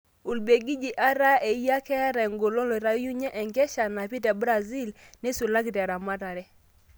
Ubelgiji ata eyia ketaa engolon loitayunyie enkesha napii te Brazilil neisulaki te ramatare.